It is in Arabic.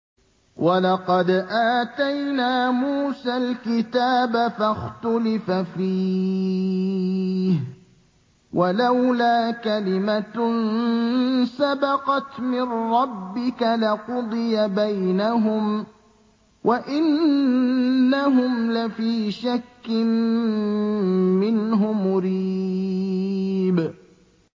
وَلَقَدْ آتَيْنَا مُوسَى الْكِتَابَ فَاخْتُلِفَ فِيهِ ۚ وَلَوْلَا كَلِمَةٌ سَبَقَتْ مِن رَّبِّكَ لَقُضِيَ بَيْنَهُمْ ۚ وَإِنَّهُمْ لَفِي شَكٍّ مِّنْهُ مُرِيبٍ